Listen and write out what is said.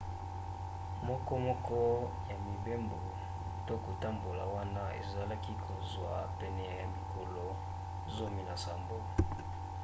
mokomoko ya mibembo to kotambola wana ezalaki kozwa pene ya mikolo 17